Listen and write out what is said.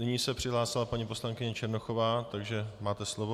Nyní se přihlásila paní poslankyně Černochová, takže máte slovo.